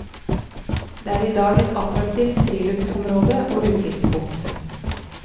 Det er i dag et attraktivt friluftsområde og utsiktspunkt.